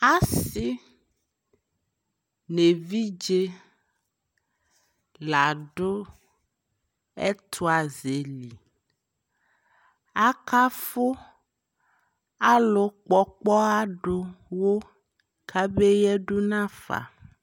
Asi nʋ evidze la dʋ ɛtʋazɛ li Akafʋ alʋ kpɔ ɔkpɔha dʋ wʋ kabe yadʋ n'afa